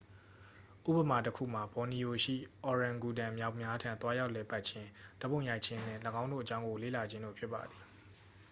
ဥပမာတစ်ခုမှာ ဘော်နီယို ရှိ အော်ရန်ဂူတန်မျောက်များထံ သွားရောက်လည်ပတ်ခြင်း ဓာတ်ပုံရိုက်ခြင်း နှင့် ၎င်းတို့အကြောင်းကို လေ့လာခြင်းတို့ဖြစ်ပါသည်